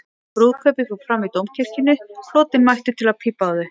Brúðkaupið fór fram í Dómkirkjunni, flotinn mættur til að pípa á þau.